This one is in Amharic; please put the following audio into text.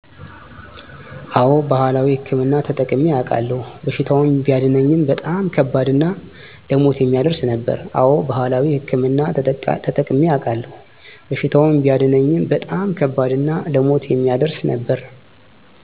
አወ ባህላዊ ህክምና ተጠቅሜ አውቃለሁ፤ በሽታውን ቢያድነኝም በጣም ከባድ እና ለሞት የሚያደርስ ነበር።